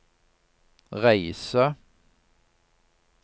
reise